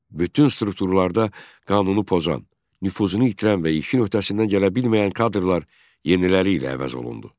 Bütün strukturlarda qanunu pozan, nüfuzunu itirən və işin öhdəsindən gələ bilməyən kadrlar yeniləri ilə əvəz olundu.